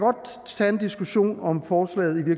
tage en diskussion af om forslaget i